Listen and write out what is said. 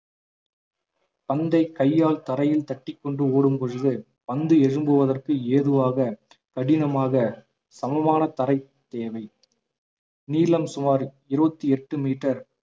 பந்தை கையால் தரையில் தட்டிக்கொண்டு ஓடும் பொழுது பந்து எழும்புவதற்கு ஏதுவாக கடினமாக சமமான தரை தேவை நீளம் சுமார் இருபத்தி எட்டு மீட்டர்